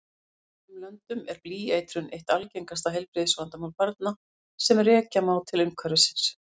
Í sumum löndum er blýeitrun eitt algengasta heilbrigðisvandamál barna sem rekja má til umhverfisins.